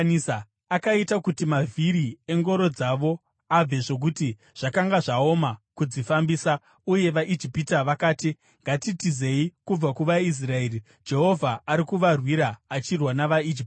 Akaita kuti mavhiri engoro dzavo abve zvokuti zvakanga zvaoma kudzifambisa. Uye vaIjipita vakati, “Ngatitizei kubva kuvaIsraeri. Jehovha ari kuvarwira achirwa navaIjipita.”